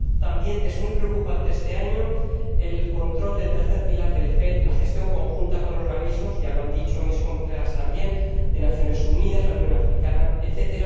También es muy preocupante este año el control del tercer pilar del FED, la gestión conjunta con organismos ya lo han dicho también mis colegas de las Naciones Unidas, la Unión Africana, etc.